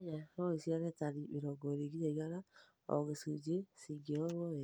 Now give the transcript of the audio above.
Nyanya no ĩciare tani 20-100 o gĩcunjĩ cingĩrorwo wega